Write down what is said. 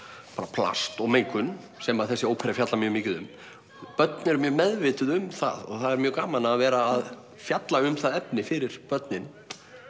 plast og mengun sem þessi ópera fjallar mikið um börn eru mjög meðvituð um það og það er mjög gaman að vera að fjalla um það efni fyrir börnin